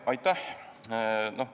Aitäh!